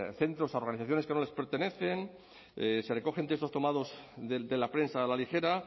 centros y organizaciones que no les pertenecen se recogen textos tomados de la prensa a la ligera